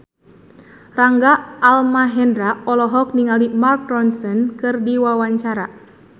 Rangga Almahendra olohok ningali Mark Ronson keur diwawancara